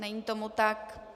Není tomu tak.